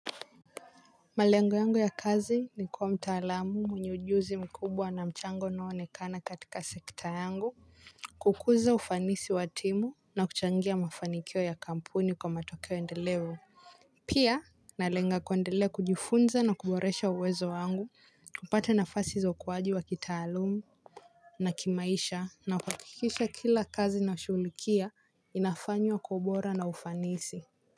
Malengo yangu ya kazi ni kuwa mtaalamu mwenye ujuzi mkubwa na mchango unao onekana katika seita yangu. Kukuza ufanisi wa timu na kuchangia mafanikio ya kampuni kwa matokeo endeleo pia nalenga kuendelea kujifunza na kuboresha uwezo wangu. Kupata nafasi za ukuwaji wa kitaalum na kimaisha na kuhakikisha kila kazi nashughulikia inafanywa kwa ubora na ufanisi.